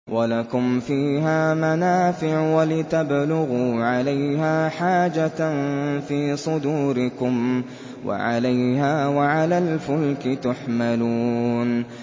وَلَكُمْ فِيهَا مَنَافِعُ وَلِتَبْلُغُوا عَلَيْهَا حَاجَةً فِي صُدُورِكُمْ وَعَلَيْهَا وَعَلَى الْفُلْكِ تُحْمَلُونَ